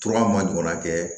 ma ɲɔgɔn na kɛ